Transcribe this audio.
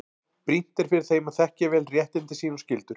Brýnt er fyrir þeim að þekkja vel réttindi sín og skyldur.